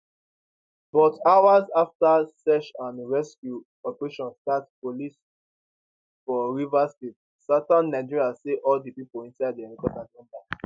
but hours afta search and rescue operation start police for rivers state southern nigeria say all di pipo inside di helicopter don die